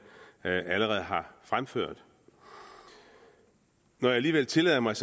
allerede har fremført når jeg alligevel tillader mig